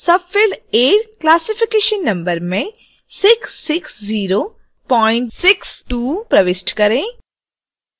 field a classification number में 66062 प्रविष्ट करें